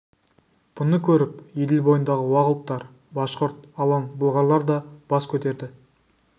бұны көріп еділ бойындағы уақ ұлттар башқұрт алан бұлғарлар да бас көтерді